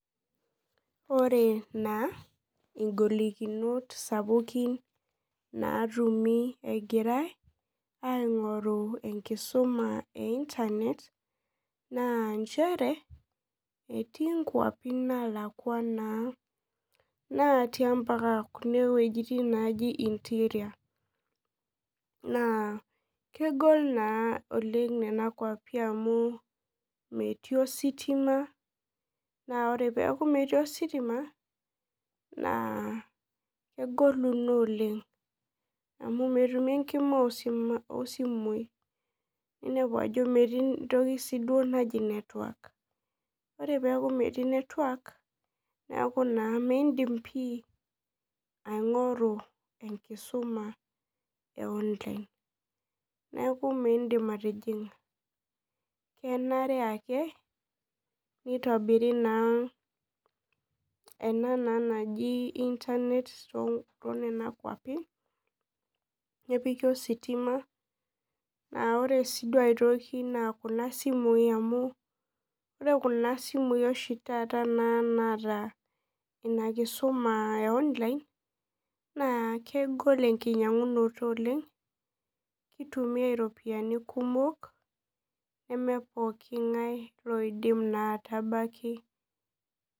Ore na ingolikinot sapukin natumi egirai aingoru enkisuma e internet na nchere etii nkwapi nalakwa natii kuna wuejitin naji interior na kegol naa nona kwapi oleng amu metii ositima na ore peaku metii ositima na kegolu oleng metumi enkima osimui ninepu metii entoki naji network ore peaku metii network neaku midim pii aingoru enkisuma e online neaku mindim atijinga kenare ake nitobiri na ena naji internet tonona kwapi nepiki ositima na ore si aitoki na kujabsimui amu ore kuna sikui oshi taata naata inakisuma na kegol oleng kitumiai ropiyani kumok namaa pokki ngae loidim naa atabaki